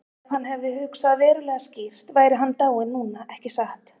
Ef hann hefði hugsað verulega skýrt væri hann dáinn núna, ekki satt?